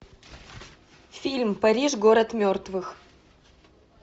фильм париж город мертвых